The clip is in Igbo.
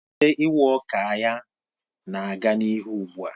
Mmalite iwa awka ya na-aga n'ihu ugbu a